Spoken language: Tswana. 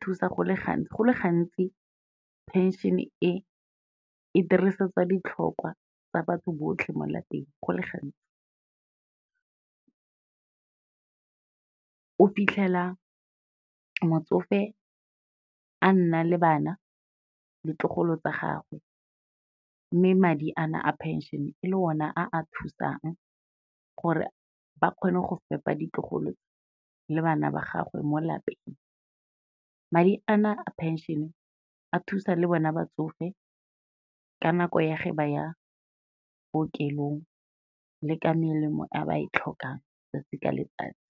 thusa, go le gantsi phenšene e, e dirisetswa ditlhokwa tsa batho botlhe mo lapeng go le gantsi. O fitlhela motsofe a nna le bana, ditlogolo tsa gagwe, mme madi a na a phenšene e le ona a a thusang gore ba kgone go fepa ditlogolo le bana ba gagwe mo lapeng. Madi a na a phenšene a thusa le bona batsofe ka nako ya ge ba ya bookelong le ka melemo a ba e tlhokang 'tsatsi ka letsatsi.